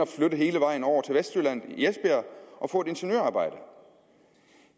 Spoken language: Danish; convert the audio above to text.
flytte hele vejen over til vestjylland og få et ingeniørarbejde